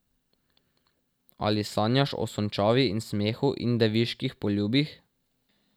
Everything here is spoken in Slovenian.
Ali sanjaš o sončavi in smehu in deviških poljubih?